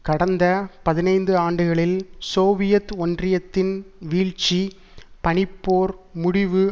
கடந்த பதினைந்து ஆண்டுகளில் சோவியத் ஒன்றியத்தின் வீழ்ச்சி பனிப்போர் முடிவு